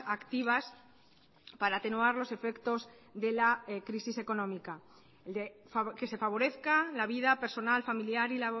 activas para atenuar los efectos de la crisis económica que se favorezca la vida personal familiar y